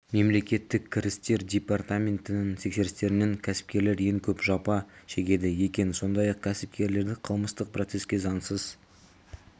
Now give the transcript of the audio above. мемлекеттік кірістер департаментінің тексерістерінен кәсіпкерлер ең көп жапа шегеді екен сондай-ақ кәсіпкерлерді қылмыстық процеске заңсыз